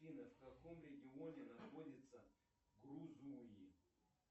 афина в каком регионе находится грузуи